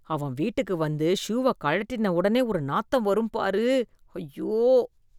அவன் வீட்டுக்கு வந்து ஷூவ கழட்டின உடனே ஒரு நாத்தம் வரும் பாரு, ஐயோ.